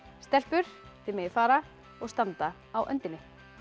stelpur þið megið fara og standa á öndinni